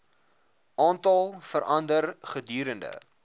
aantal verander gedurende